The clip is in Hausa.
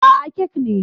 Aa, kek ne